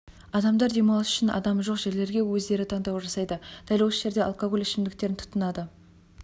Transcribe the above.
адамдар демалыс үшін адамы жоқ жерлерге өздері таңдау жасайды дәл осы жерде алкоголь ішімдіктерін тұтынады